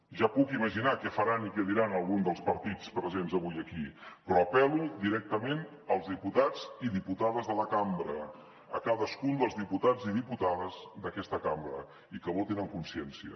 ja puc imaginar què faran i què diran alguns dels partits presents avui aquí però apel·lo directament als diputats i diputades de la cambra a cadascun dels diputats i diputades d’aquesta cambra i que votin en consciència